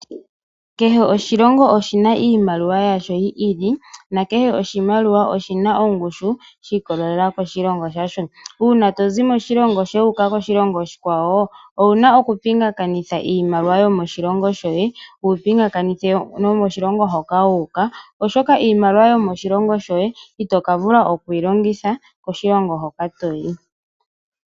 Kehe oshilongo oshina iimaliwa yasho yi ili nakehe oshimaliwa oshina ongushu shi ikwatalela koshilongo shasho, uuna tozi moshilongo shoye wuuka koshilongo oshikwawo owuna okupingakanitha iimaliwa yo moshilongo shoye naambi yomoshilongo hoka wu uka, oshoka iimaliwa yomoshilongo shoye itokuvala okuyilongitha koshilongo hoka toyi.